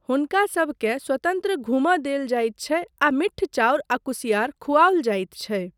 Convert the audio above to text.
हुनकासबकेँ स्वतन्त्र घूमय देल जाइत छै आ मिट्ठ चाउर आ कुसियार खुआओल जाइत छै।